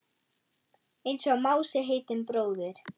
Einsog Mási heitinn bróðir.